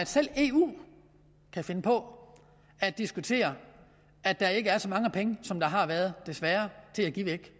selv eu kan finde på at diskutere at der ikke er så mange penge som der har været desværre til at give væk